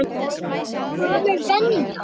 Er þetta gömul venja?